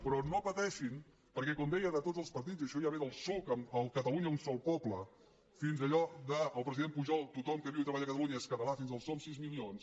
però no pateixin perquè com deia de tots els partits i això ja ve del psuc amb el catalunya un sol poble fins allò del president pujol tothom que viu i treballa a catalunya és català fins al som sis milions